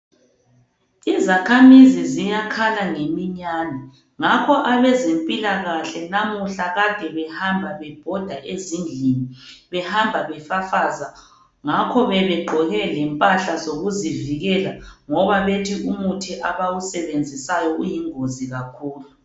Izakhamizi ziyakhala ngeminyane ngakho abezempikahle namuhla ade behamba bebhoda ezindlini behamba befafaza ngakho bebegqoke lempahla zokuzivikela ngoba bethi umuthi abawusebenzisayo uyingozi kakhulu.